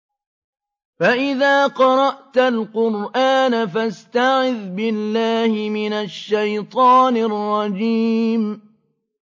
فَإِذَا قَرَأْتَ الْقُرْآنَ فَاسْتَعِذْ بِاللَّهِ مِنَ الشَّيْطَانِ الرَّجِيمِ